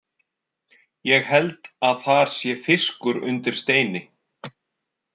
Ég held að þar sé fiskur undir steini.